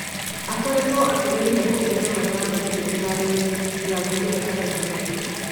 "akoretwo akĩgeria kũgia na mathaa maingĩ iharoinĩ," ndirangu niwe ũraugire